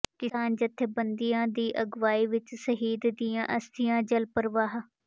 ਕਿਸਾਨ ਜਥੇਬੰਦੀਆਂ ਦੀ ਅਗਵਾਈ ਵਿੱਚ ਸ਼ਹੀਦ ਦੀਆਂ ਅਸਥੀਆਂ ਜਲ ਪ੍ਰਵਾਹ